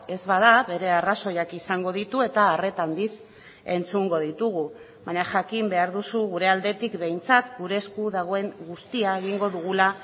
ez bada bere arrazoiak izango ditu eta arreta handiz entzungo ditugu baina jakin behar duzu gure aldetik behintzat gure esku dagoen guztia egingo dugula